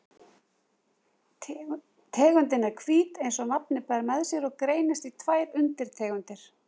Tegundin er hvít eins og nafnið ber með sér og greinist í tvær undirtegundir.